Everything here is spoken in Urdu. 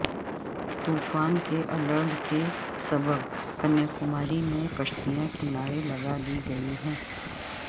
طوفان کے الرٹ کے سبب کنیاکماری میں کشتیاں کنارے لگادی گئی ہیں